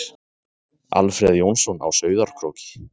Alfreð Jónsson á Sauðárkróki